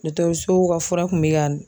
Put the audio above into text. ka fura kun bɛ ka